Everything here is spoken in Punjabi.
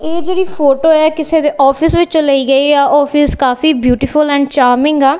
ਇਹ ਜਿਹੜੀ ਫੋਟੋ ਹੈ ਕਿਸੇ ਦੇ ਆਫਿਸ ਵਿੱਚ ਲਈ ਗਈ ਆ ਆਫਿਸ ਕਾਫੀ ਬਿਊਟੀਫੁਲ ਐਂਡ ਚਾਮਿੰਗ ਆ।